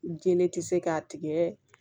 Jɛnɛ ti se k'a tigɛ